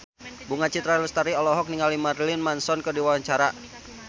Bunga Citra Lestari olohok ningali Marilyn Manson keur diwawancara